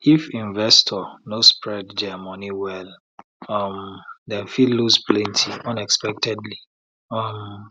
if investor no spread their money well um dem fit lose plenty unexpectedly um